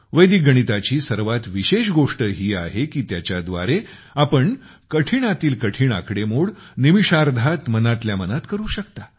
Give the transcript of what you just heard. वैदिक गणिताची सर्वात विशेष गोष्ट ही आहे कि त्याच्या द्वारे आपण कठीणातील कठीण आकडेमोड निमिषार्धात मनातल्या मनात करू शकता